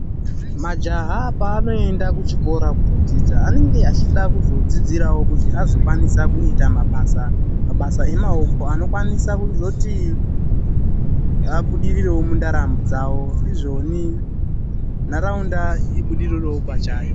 Majaya paanoenda kuchikora kundodzidza, anenge achida kuzodzidzirawo kuti azokwanisa kuita mabasa emaoko anokwanisa kuzoti abudirirewo mundaramo dzavo, izvoni nharaunda ibudirirerewo pachayo.